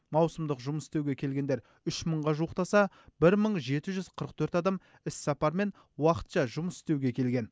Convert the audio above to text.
маусымдық жұмыс істеуге келгендер үш мыңға жуықтаса бір мың жеті жүз қырық төрт адам іссапармен уақытша жұмыс істеуге келген